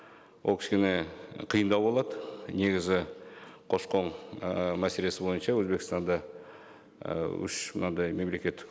ол кішкене қиындау болады негізі көші қон ііі мәселесі бойынша өзбекстанда і үш мынандай мемлекеттік